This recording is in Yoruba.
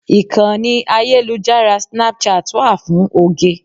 Ìkànnì ayélujára Snapchat wà fún oge.